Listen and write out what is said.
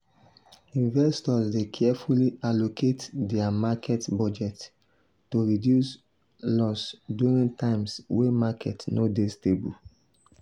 investors dey carefully allocate dia market budget to reduce loss during times wey market no dey stable.